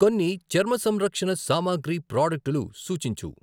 కొన్ని చర్మ సంరక్షణ సామాగ్రి ప్రాడక్టులు సూచించు.